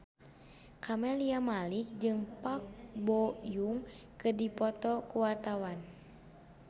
Camelia Malik jeung Park Bo Yung keur dipoto ku wartawan